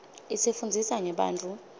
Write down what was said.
isifunndzisa ngebantfu